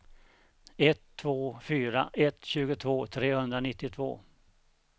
ett två fyra ett tjugotvå trehundranittiotvå